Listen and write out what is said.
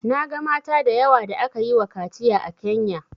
Na ga mata da yawa da aka yi wa kaciya a Kenya